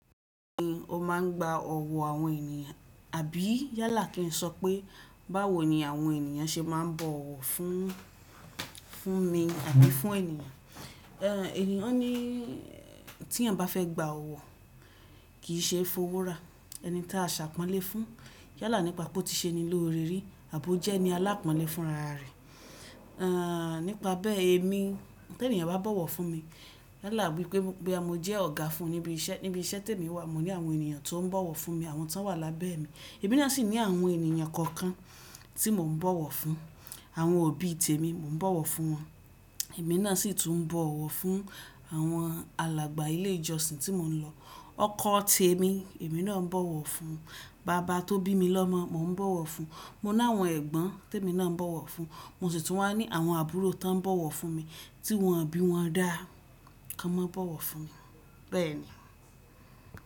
Ni o máà ń gba ọ̀wọ̀ àwọn ènìyàn àbí yálà kí n sọ pé báwo ni àwọn ènìyàn ṣe máa ń bọ̀wọ̀ fún, fún mi àbí fún ènìyàn, ènìyàn ní tí èeyàn bá fẹ́ gba ọ̀wọ̀ kì í ṣe f'óworà ẹni tí a ṣàpọ́nlé fún yálà nípa pé ó ti ṣe ni lórí rí àbo jẹ́ ẹni alápọ́nlé fún rara rẹ̀. Ẹ́ nípa bẹ́ẹ̀ èmi tí ènìyàn bá bọ̀wọ̀ fún mi yálà bí pé mo jẹ́ ọ̀gá fún níbi iṣẹ́, níbi iṣẹ́ tí èmi wà mo ní àwọn ènìyàn tó ń bọ̀wọ̀ fún mi àwọn tó wà lábẹ́ mi, èmi náà sì ní àwọn ènìyàn kọ̀ọ̀kan tí mò ń bọ̀wọ̀ fún, àwọn òbí tèmi mò ń bọ̀wọ̀ fún wọn, èmi náà sì tún ń bọ̀wọ̀ fún àwọn alàgbà ilé ìjọsìn tí mò ń lọ, ọkọ̀ tí èmi, èmi náà ń bọ̀wọ̀ fún, bàbá tó bí mi lọ́mọ mò ń bọ̀wọ̀ fún, mo ní àwọn ẹ̀gbọ́n tí èmi náà ń bọ̀wọ̀ fún, mo sì tún wà ní àwọn àbúrò tó ń bọ̀wọ̀ fún mi tí wọ́n ò bí wọn dá kí wọ́n má bọ̀wọ̀ fún mi bẹ́ẹ̀ ni.